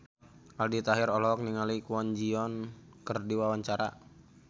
Aldi Taher olohok ningali Kwon Ji Yong keur diwawancara